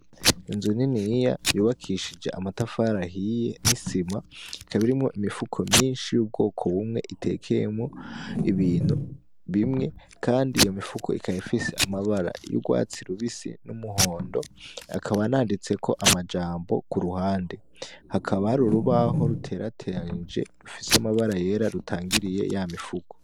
Inzu niniya yubakishije amatafari ahiye n'isima ,ikaba irimwo imifuko myinshi y'ubwoko bumwe itekeyemwo ibintu bimwe kandi iyo mifuko ikaba ifise amabara y'urwatsi rubisi n'umuhondo akaba n'anditseko amajambo kuruhande, hakaba hari urubaho ruterateranije rufise amabara yera rutangiriye ya mifuko.